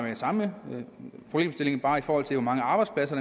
samme problemstilling bare i forhold til hvor mange arbejdspladser